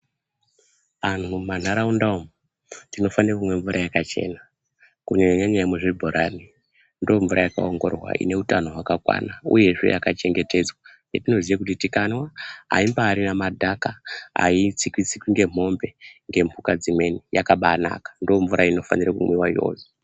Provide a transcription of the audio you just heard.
Antu mumandaraunda umu tinofana kumwa mvura yakachena kunyanyanya mvura yemuzvibhorani ndomvura yakaongororwa ine hutano hwakakwana uye zve yakachengetedzwa yatinoziva kuti tikamwa haimbarina madhaka haitsikwi tsikwi nemombe dzimweni yakabanaka ndomvura inofana kumwiwa iyoyo.